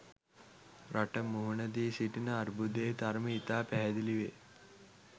රට මුහුණ දී සිටින අර්බුදයේ තරම ඉතා පැහැදිලි වේ.